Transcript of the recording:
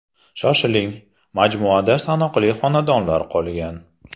Shoshiling, majmuada sanoqli xonadonlar qolgan.